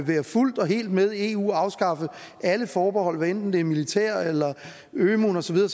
være fuldt og helt med i eu og afskaffe alle forbehold hvad enten det er militært eller ømuen og så videre